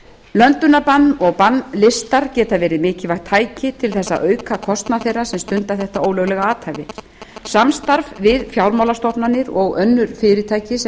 löndunarbann og bannlistar geta verið mikilvægt tæki til þess að auka kostnað þeirra sem stunda þetta ólöglega athæfi samstarf við fjármálastofnanir og önnur fyrirtæki sem